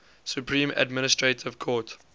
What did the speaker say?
supreme administrative court